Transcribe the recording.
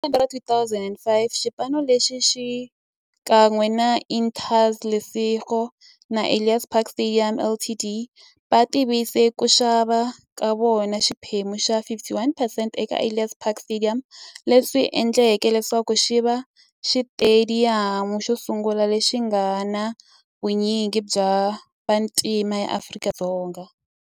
Hi lembe ra 2005, xipano lexi, xikan'we na Interza Lesego na Ellis Park Stadium Ltd, va tivise ku xava ka xona xiphemu xa 51percent eka Ellis Park Stadium, leswi endleke leswaku xiva xitediyamu xosungula lexi nga na vunyingi bya vantima e Afrika-Dzonga.